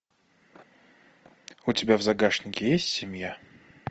у тебя в загашнике есть семья